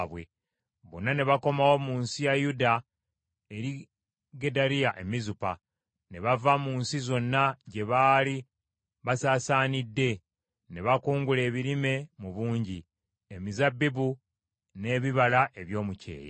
bonna ne bakomawo mu nsi ya Yuda eri Gedaliya e Mizupa, ne bava mu nsi zonna gye baali basaasaanidde. Ne bakungula ebirime mu bungi, emizabbibu n’ebibala eby’omu kyeya.